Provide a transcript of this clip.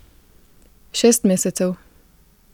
Šest mesecev.